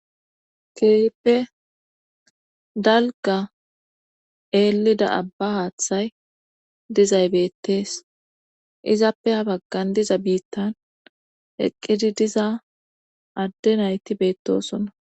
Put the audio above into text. Keehippe dalga eelida abba haaththay dizay beettees izappe ha baggan diza biittan eqqidi diza adde nayti beettosonna